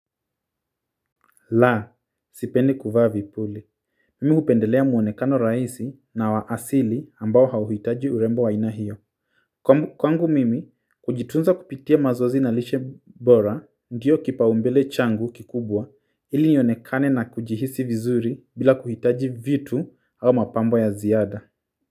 La, sipendi kuvaa vipuli. Mimi hupendelea mwonekano rahisi, na wa asili, ambao hauhitaji urembo wa aina hiyo kwangu mimi, kujitunza kupitia mazoezi na lishe bora, ndio kipaumbele changu kikubwa, ili ionekane na kujihisi vizuri, bila kuhitaji vitu, au mapambo ya ziada.